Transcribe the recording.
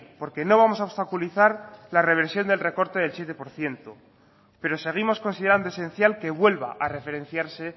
porque no vamos a obstaculizar la reversión del recorte del siete por ciento pero seguimos considerando esencial que vuelva a referenciarse